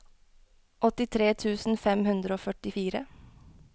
åttitre tusen fem hundre og førtifire